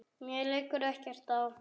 Mér liggur ekkert á.